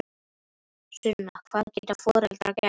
Sunna: Hvað geta foreldrar gert?